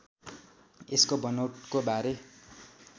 यसको बनौटको बारे